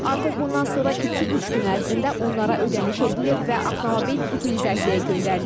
Artıq bundan sonra iki-üç gün ərzində onlara ödəniş edilir və avtomobil utilizasiyaya göndərilir.